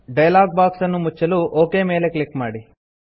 dialog box ಅನ್ನು ಮುಚ್ಚಲು OK ಮೇಲೆ ಕ್ಲಿಕ್ ಮಾಡಿ